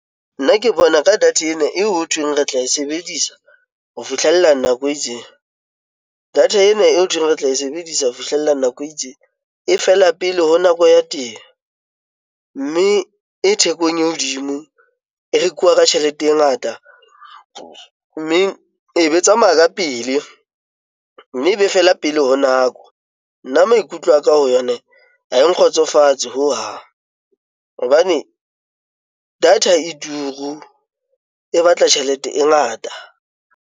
Nna ke bona ka data ena eo ho thweng re tla e sebedisa ho fihlella nako e itseng data ena eo ho thweng re tla e sebedisa ho fihlella nako e itseng. E fela pele ho nako ya teng, mme e thekong e hodimo, e rekuwa ka tjhelete e ngata mme e be tsamaya ka pele mme e be fela pele ho nako nna maikutlo a ka ho yona ha e nkgotsofatse ho hang hobane data e turu e batla tjhelete e ngata.